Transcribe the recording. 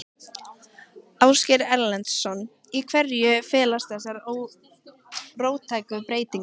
Ásgeir Erlendsson: Í hverju felast þessar róttæku breytingar?